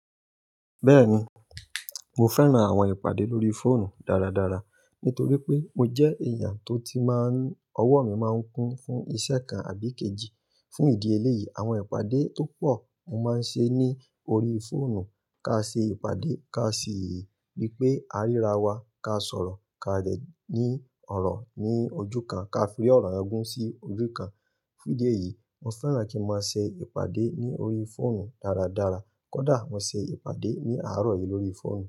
Bẹ́ẹ̀ni, mo fẹ́ran àwọn ìpàdé lórí fóònù dáradára nítorí pé mo jẹ́ èèyàn tó ti máa ń ọwọ́ mi máa ń kún fún ìṣẹ́ kan àbí kejì. Fún ìdí eléyìí, àwọn ìpàdé tó pọ̀ mo máa ń ṣe ní orí fóònù. Ká ṣe ìpàdé, ká ṣe èyí, bí pé á ríra wa, ká sọ̀rọ̀, ká dẹ̀ ní ọ̀rọ̀ ní ojú kan, ká fi ori ọ̀rọ̀ yen gún sí ojú kan. Fún ìdí èyí, mo fẹ́ràn kí n máa ṣe ìpàdé ní orí fóònù dáradára. Kódà mo ṣe ìpàdé ní àárọ̀ yìí lórí fóònù.